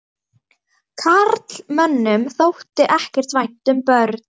Karlmönnum þótti ekkert vænt um börn.